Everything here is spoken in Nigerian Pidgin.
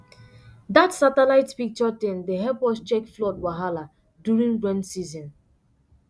dat satellite picture thing dey help us check flood wahala during rain season